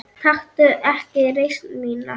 Taktu ekki reisn mína.